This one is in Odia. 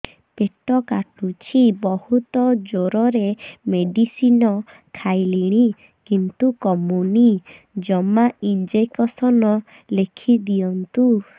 ପେଟ କାଟୁଛି ବହୁତ ଜୋରରେ ମେଡିସିନ ଖାଇଲିଣି କିନ୍ତୁ କମୁନି ଜମା ଇଂଜେକସନ ଲେଖିଦିଅନ୍ତୁ